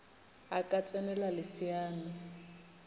a ka ts enela leseana